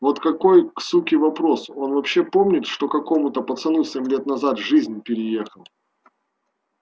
вот какой суке вопрос он вообще помнит что какому-то пацану семь лет назад жизнь переехал